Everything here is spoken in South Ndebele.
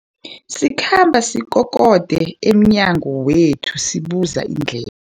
Isikhambi sikokode emnyango wethu sibuza indle